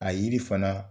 A yiri fana